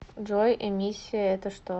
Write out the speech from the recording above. джой эмиссия это что